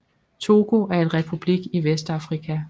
Togo er en republik i Vestafrika